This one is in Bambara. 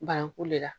Bananku le la